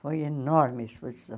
Foi enorme a exposição.